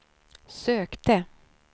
sökte